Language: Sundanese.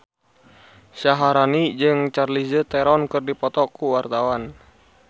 Syaharani jeung Charlize Theron keur dipoto ku wartawan